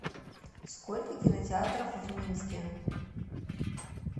сколько кинотеатров в минске